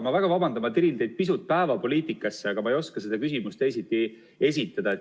Ma väga vabandan, ma tirin teid pisut päevapoliitikasse, aga ma ei oska seda küsimust teisiti esitada.